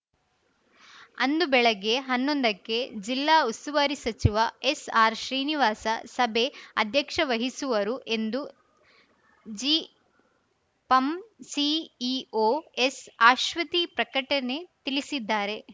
ಅಂದು ಬೆಳಗ್ಗೆ ಹನ್ನೊಂದಕ್ಕೆ ಜಿಲ್ಲಾ ಉಸ್ತುವಾರಿ ಸಚಿವ ಎಸ್‌ಆರ್‌ ಶ್ರೀನಿವಾಸ ಸಭೆ ಅಧ್ಯಕ್ಷವಹಿಸುವರು ಎಂದು ಜಿಪಂ ಸಿಇಒ ಎಸ್‌ಅಶ್ವತಿ ಪ್ರಕಟಣೆ ತಿಳಿಸಿದ್ದಾರೆ